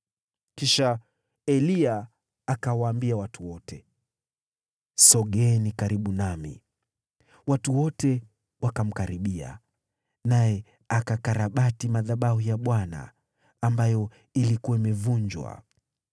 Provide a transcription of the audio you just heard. Kisha Eliya akawaambia watu wote, “Sogeeni karibu nami.” Watu wote wakamkaribia, naye akakarabati madhabahu ya Bwana , ambayo ilikuwa imevunjwa.